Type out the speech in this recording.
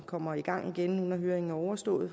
kommer i gang igen nu når høringen er overstået